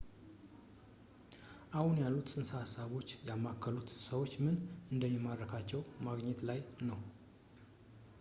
አሁን ያሉት ፅንሰ ሐሳቦች ያማከሉት ሰዎችን ምን እንደሚማርካቸው ማግኘት ላይ ነው